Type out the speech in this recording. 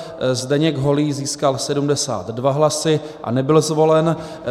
Zdeněk Holý získal 72 hlasy a nebyl zvolen.